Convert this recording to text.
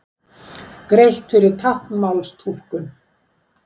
Greitt fyrir táknmálstúlkun